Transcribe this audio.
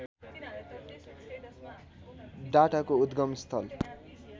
डाटाको उद्‌गम स्थल